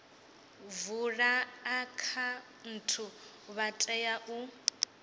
vula akhaunthu vha tea u